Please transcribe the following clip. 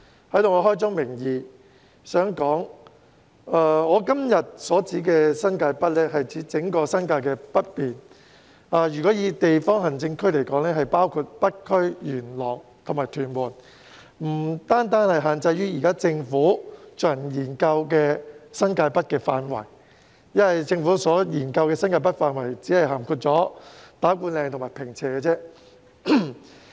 在此我想開宗明義指出，我今天所說的"新界北"是指整個新界北面，若以地方行政區劃分，即包括北區、元朗及屯門，而不限於政府現正研究的新界北範圍，因為政府研究的新界北範圍只包括打鼓嶺及坪輋而已。